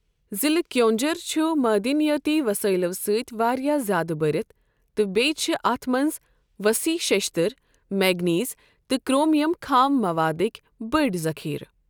ضِلٕع کیونجھر چُھ دنِیٲتی وَسٲیِلو سۭتہِ واریاہ زِیادٕ بٔرِتھ تہٕ بیٛیہِ چِھ اَتھ مَنٛز وصیح شِشتٕر ، مینگنیز تہٕ کرٛومِیَم خام مَوادٕکۍ بٔڈۍ ذخیرٕ ۔